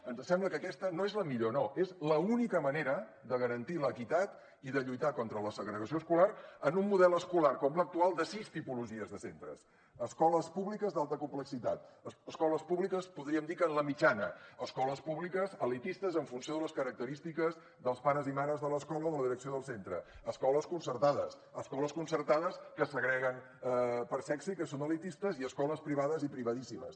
ens sembla que aquesta no és la millor no és l’única manera de garantir l’equitat i de lluitar contra la segregació escolar en un model escolar com l’actual de sis tipologies de centres escoltes públiques d’alta complexitat escoles públiques podríem dir que en la mitjana escoles públiques elitistes en funció de les característiques dels pares i mares de l’escola o de la direcció del centre escoles concertades escoles concertades que segreguen per sexe i que són elitistes i escoles privades i privadíssimes